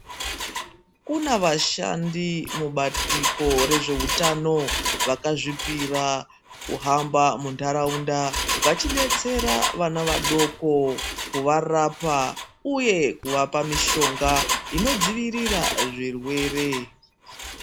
Kune vashandi mubandiko rezveutano vakazvipira kuhamba muntaraunda vachidetsera vana vadoko kuvarapa uye kuvapa mishonga inodzivirira zvirwere.